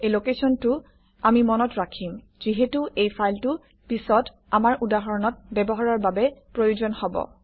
এই লোকেশ্যনটো আমি মনত ৰাখিম যিহেতু এই ফাইলটো পিছত আমাৰ উদাহৰণত ব্যৱহাৰৰ বাবে প্ৰয়োজন হব